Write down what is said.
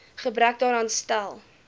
gebrek daaraan stel